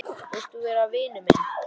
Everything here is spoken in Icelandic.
Vilt þú vera vinur minn?